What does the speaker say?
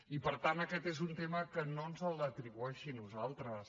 i per tant aquest és un tema que no ens l’atribueixi a nosaltres